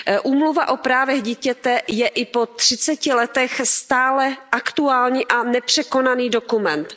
Úmluva o právech dítěte je i po třiceti letech stále aktuální a nepřekonaný dokument.